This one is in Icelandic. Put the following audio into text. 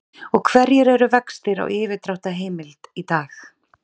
Og hverjir eru vextir á yfirdráttarheimild í dag?